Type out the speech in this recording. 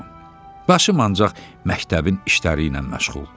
Başım ancaq məktəbin işləri ilə məşğuldur.